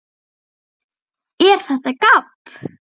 ER ÞETTA GABB?